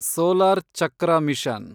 solar ಚಕ್ರ mission